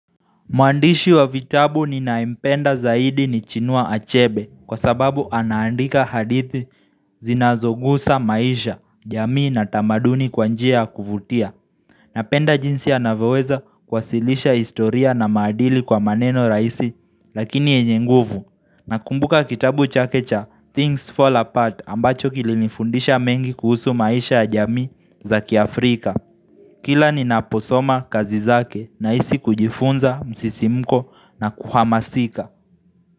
Mwandishi wa vitabu ninayempenda zaidi ni chinua achebe kwa sababu anaandika hadithi zinazogusa maisha, jamii na tamaduni kwa njia ya kuvutia. Napenda jinsi anavoweza kuwasilisha historia na maadili kwa maneno raisi lakini yenye nguvu. Nakumbuka kitabu chake cha Things Fall Apart ambacho kilinifundisha mengi kuhusu maisha ya jamii za kiafrika. Kila ninaposoma kazi zake nahisi kujifunza msisimko na kuhamasika.